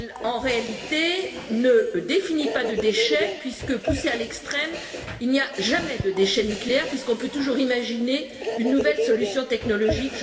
En réalité, elle ne définit pas de déchets puisque, si l'on pousse à l'extrême, il n'y a jamais de déchets nucléaires, puisqu'on peut toujours imaginer une nouvelle solution technologique.